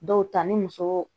Dɔw ta ni muso